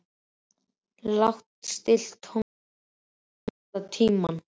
Lágt stillt tónlist er á allan tímann.